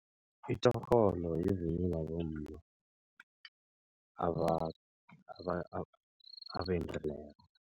Itjorholo yivunulo yabomma abendileko.